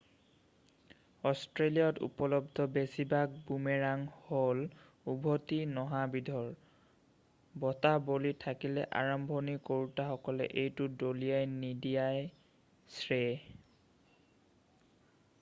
অষ্ট্ৰেলিয়াত উপলব্ধ বেছিভাগ বুমেৰাং হ'ল উভতি নহা বিধৰ বতাহ বলি থাকিলে আৰম্ভণি কৰোঁতাসকলে এইটো দলিয়াই নিদিয়াই শ্ৰেয়